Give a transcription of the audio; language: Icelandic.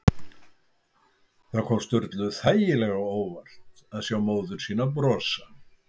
Það kom Sturlu þægilega á óvart að sjá móður sína brosa.